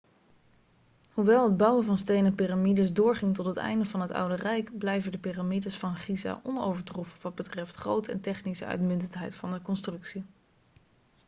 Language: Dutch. hoewel het bouwen van stenen piramides doorging tot het einde van het oude rijk blijven de piramides van giza onovertroffen wat betreft grootte en technische uitmuntendheid van de constructie